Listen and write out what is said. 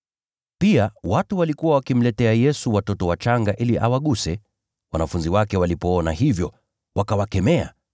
Pia, watu walikuwa wakimletea Yesu watoto wachanga ili awaguse. Wanafunzi wake walipoona hivyo, wakawakemea.